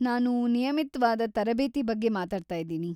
ನಾನು ನಿಯಮಿತ್ವಾದ ತರಬೇತಿ ಬಗ್ಗೆ ಮಾತಾಡ್ತಾ ಇದ್ದೀನಿ.